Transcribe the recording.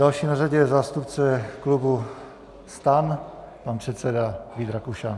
Další na řadě je zástupce klubu STAN, pan předseda Vít Rakušan.